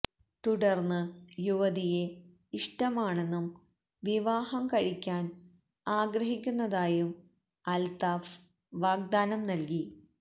തുടർന്ന് യുവതിയെ ഇഷ്ടമാണെന്നും വിവാഹം കഴിക്കാൻ ആഗ്രഹിക്കുന്നതായും അൽത്താഫ് വാഗ്ദാനം നൽകി